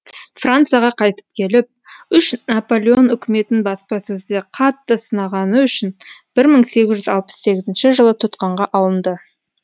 францияға қайтып келіп үш наполеон үкіметін баспасөзде қатты сынағаны үшін бір мың сегіз жүз алпыс сегізнші жылы тұтқынға алынды